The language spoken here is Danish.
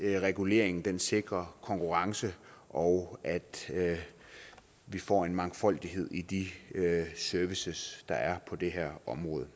reguleringen sikrer konkurrence og at vi får en mangfoldighed i de services der er på det her område